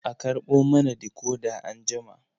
A karɓo mana decoder anjima.